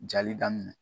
Jali daminɛ